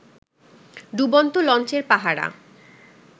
ডুবন্ত লঞ্চের পাহারা